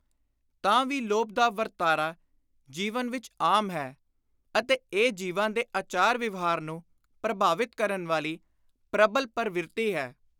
ਤਾਂ ਵੀ ਲੋਭ ਦਾ ਵਰਤਾਰਾ ਜੀਵਨ ਵਿਚ ਆਮ ਹੈ ਅਤੇ ਇਹ ਜੀਵਾਂ ਦੇ ਆਚਾਰ ਵਿਵਹਾਰ ਨੂੰ ਪ੍ਰਭਾਵਿਤ ਕਰਨ ਵਾਲੀ ਪ੍ਰਬਲ ਪਰਵਿਰਤੀ ਹੈ।